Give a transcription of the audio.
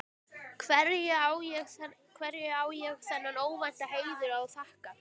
Hverju á ég þennan óvænta heiður að þakka?